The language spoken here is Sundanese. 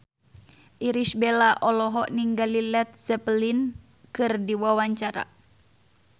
Irish Bella olohok ningali Led Zeppelin keur diwawancara